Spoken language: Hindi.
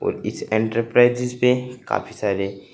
इस एंटरप्राइजेज पे काफी सारे--